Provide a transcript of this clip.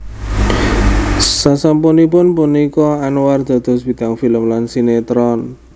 Sasampunipun punika Anwar dados bintang film lan sinetron